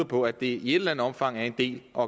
på at det i et eller andet omfang er en del af